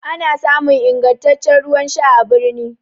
ana samun ingantaccen ruwan Sha a birnin